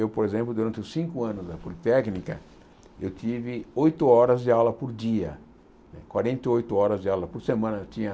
Eu, por exemplo, durante os cinco anos da Politécnica, eu tive oito horas de aula por dia, quarenta e oito horas de aula por semana. Tinha